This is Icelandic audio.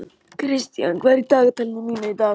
Kristian, hvað er í dagatalinu í dag?